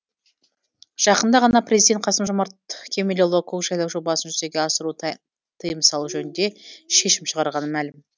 жақында ғана президент қасым жомарт кемелұлы көкжайлау жобасын жүзеге асыруға тыйым салу жөнінде шешім шығарғаны мәлім